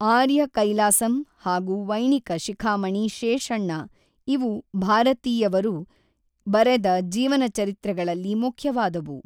ಆರ್ಯ ಕೈಲಾಸಂ ಹಾಗು ವೈಣಿಕ ಶಿಖಾಮಣಿ ಶೇಷಣ್ಣ ಇವು ಭಾರತೀಯವರು ಬರೆದ ಜೀವನಚರಿತ್ರೆಗಳಲ್ಲಿ ಮುಖ್ಯವಾದವು.